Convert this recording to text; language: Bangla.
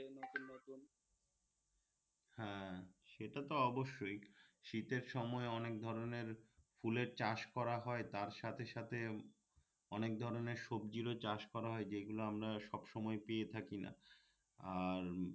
হ্যা সেটা তো অবশ্যই শীতের সময় অনেক ধরনের ফুলের চাষ করা হয় তার সাথেসাথে অনেক ধরণের সবজিরও চাষ করা হয় যেগুলো আমরা সবসময় পেয়ে থাকি না আর